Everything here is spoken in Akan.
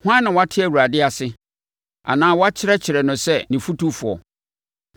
Hwan na wate Awurade ase, anaa wakyerɛkyerɛ no sɛ ne fotufoɔ?